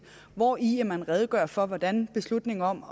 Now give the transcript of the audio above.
hvori man redegør for hvordan beslutningen om